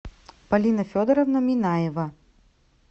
полина федоровна минаева